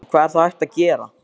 En hvað er þá hægt að gera?